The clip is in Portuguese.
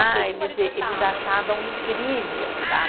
Ah, eles eh, eles achavam incrível, sabe?